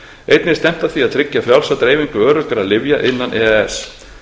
einnig er stefnt að því að auka frjálsa dreifingu öruggra lyfja innan e e s